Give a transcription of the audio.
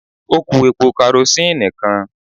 Ó kú epo karosíìnì kan.